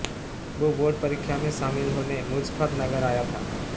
वो बोर्ड परीक्षा में शामिल होने मुजफ्फरनगर आया था